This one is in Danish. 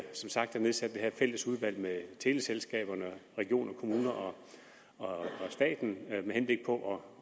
sagt har nedsat det her fælles udvalg med teleselskaberne regioner kommuner og staten med henblik på